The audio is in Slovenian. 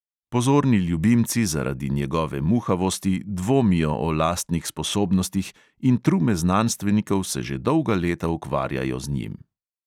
Pozorni ljubimci zaradi njegove muhavosti dvomijo o lastnih sposobnostih in trume znanstvenikov se že dolga leta ukvarjajo z njim.